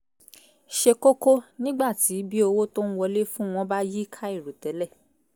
ṣe kókó nígbà tí bí owó tó ń wọlé fún-un wọn bá yí kàìròtẹ́lẹ̀